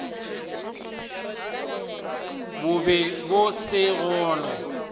bo be bo se gona